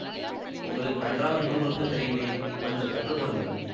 உங்களுக்கு நன்றாக நூல் நூற்கத் தெரியுமே கொஞ்சம் கற்று கொடுங்கள்